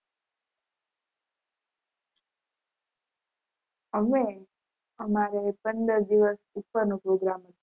અમે, અમારે પંદર દિવસ ઉપરનો programme હતો